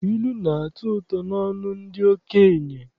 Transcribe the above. Ilu na-atọ ụtọ n'ọnụ ndị okenye.